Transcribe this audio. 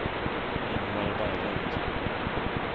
Ingvar Berglund